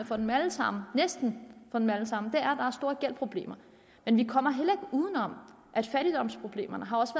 for dem alle sammen næsten for dem alle sammen er at de har store gældsproblemer men vi kommer heller ikke uden om at fattigdomsproblemerne også